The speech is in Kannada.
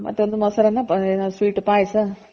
ಮತ್ತೊಂದು ಮೊಸರನ್ನ sweet ಪಾಯಸ.